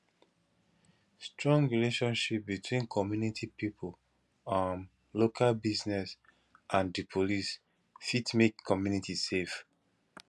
strong relationship between community pipo um local business and di police fit make community safe